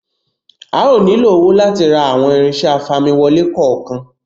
A ó nílò owó láti ra àwọn irinṣẹ́ afamiwole kọ̀ọ̀kan